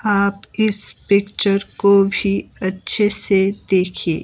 आप इस पिक्चर को भी अच्छे से देखिए।